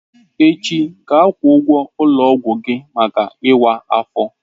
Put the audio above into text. Echi, gaa kwụọ ụgwọ ulo ogwu gi maka iwa afo!